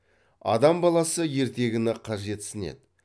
адам баласы ертегіні қажетсінеді